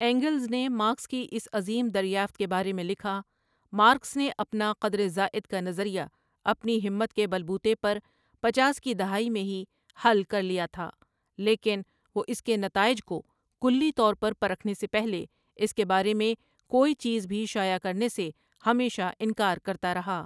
Angles نے Marx کی اس عظیم دریافت کے بارے میں لکھا، مارکس نے اپنا قدر زائد کا نظریہ اپنی ہمت کے بل بوتے پر پچاس کی دہائی میں ہی حل کر لیا تھا لیکن وہ اس کے نتائج کو کلی طور پر پرکھنے سے پہلے اس کے بار ے میں کو ئی چیز بھی شائع کرنے سے ہمیشہ انکا ر کر تا رہا ۔